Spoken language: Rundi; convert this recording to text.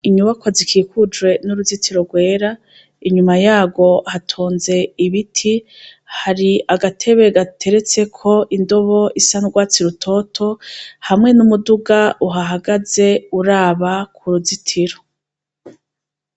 Inyubako zikikujwe n'uruzitiro rwera inyuma yawo hatonze ibiti hari agatebe gateretseko indobo isa ndwatsi rutoto hamwe n'umuduga uhahagaze uraba ku ruzitiro.